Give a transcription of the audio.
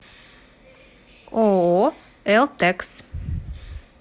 ооо элтекс